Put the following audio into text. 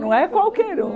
Não é qualquer um.